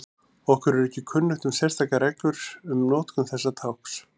Okkur er ekki kunnugt um sérstakar reglur um notkun þessa tákns.